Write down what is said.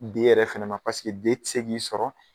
D yɛrɛ fana ma paseke D ti se k'i sɔrɔ